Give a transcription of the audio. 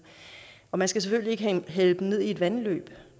og man skal selvfølgelig ikke hælde i et vandløb